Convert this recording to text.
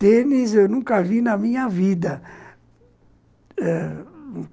Tênis, eu nunca vi na minha vida.